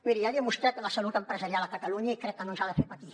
miri ja li he demostrat la salut empresarial a catalunya i crec que no ens ha de fer patir